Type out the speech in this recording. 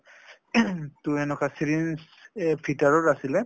টো এনেকুৱা syringe এ ভিতৰৰ আছিলে ।